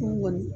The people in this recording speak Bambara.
N kɔni